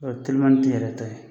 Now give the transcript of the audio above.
O ye telimanitigi yɛrɛ ta ye.